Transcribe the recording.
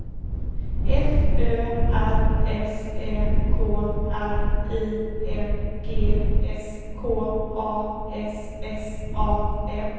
F Ö R S Ä K R I N G S K A S S A N